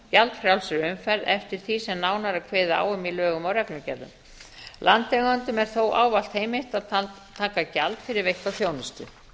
gjaldfrjálsri umferð eftir því sem nánar er kveðið á um í lögum og reglugerðum landeigendum er þó ávallt heimilt að taka gjald fyrir veitta þjónustu